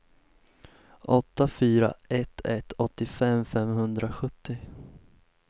åtta fyra ett ett åttiofem femhundrasjuttio